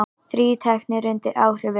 Þrír teknir undir áhrifum